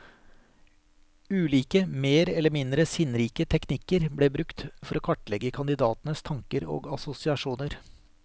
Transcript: Ulike, mer eller mindre sinnrike teknikker ble brukt for å kartlegge kandidatenes tanker og assosiasjoner.